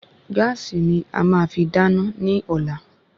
Gáàsì ni ama fi dáná ní ọ̀la